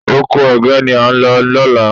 Oko ẹ̀gẹ́ ni à ń lọ lọ́la